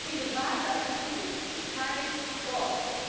Im Rat dazu kein Wort.